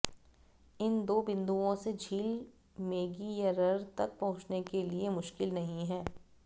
इन दो बिंदुओं से झील मेगियरर तक पहुंचने के लिए मुश्किल नहीं है